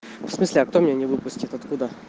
в смысле а кто меня не выпустит откуда